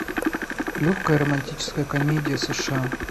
легкая романтическая комедия сша